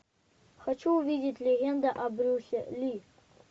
хочу увидеть легенда о брюсе ли